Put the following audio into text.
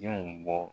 Denw bɔ